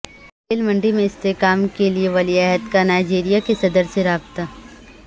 تیل منڈی میں استحکام کے لیے ولی عہد کا نائیجیریا کے صدر سے رابطہ